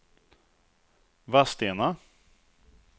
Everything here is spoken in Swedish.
Vadstena